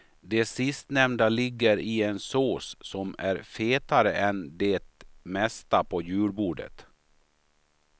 De sistnämnda ligger i en sås som är fetare än det mesta på julbordet.